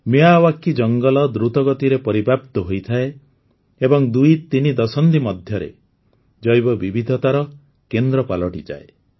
Miyawaki ଜଙ୍ଗଲ ଦ୍ରୁତଗତିରେ ପରିବ୍ୟାପ୍ତ ହୋଇଥାଏ ଏବଂ ଦୁଇତିନି ଦଶନ୍ଧି ଭିତରେ ଜୈବ ବିବିଧତାର କେନ୍ଦ୍ର ପାଲଟିଯାଏ